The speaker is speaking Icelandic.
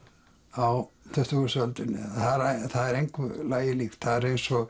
á tuttugustu öldinni það er engu lagi líkt það er eins og